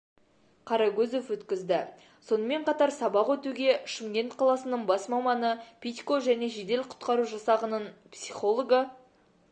каракөзев өткізді сонымен қатар сабақ өтуге шымкент қаласының бас маманы пидько және жедел-құтқару жасақның психологы